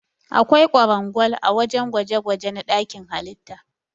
Akwai kwarangwal ã wajen gwaje-gwaje na dakin halitta.